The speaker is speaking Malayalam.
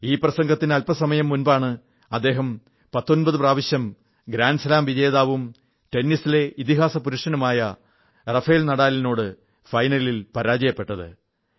ഈ പ്രസംഗത്തിനു അല്പസമയം മുമ്പാണ് അദ്ദേഹം 19 പ്രാവശ്യം ഗ്രാന്റ് സ്ലാം ജേതാവും ടെന്നിസിലെ ഇതിഹാസപുരുഷനുമായ റാഫേൽ നാദാലിനോട് ഫൈനലിൽ പരാജയപ്പെട്ടത്